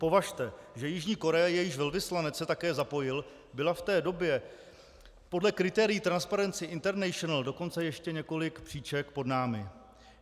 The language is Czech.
Považte, že Jižní Korea, jejíž velvyslanec se také zapojil, byla v té době podle kritérií Transparency International dokonce ještě několik příček pod námi.